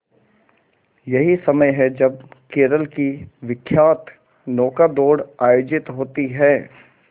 यही समय है जब केरल की विख्यात नौका दौड़ आयोजित होती है